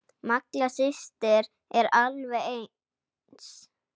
Malla systir eru alveg eins.